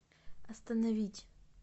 остановить